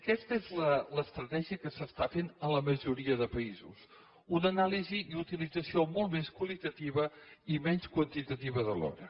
aquesta és l’estratègia que s’està fent a la majoria de països una anàlisi i utilització molt més qualitatives i menys quantitatives de l’hora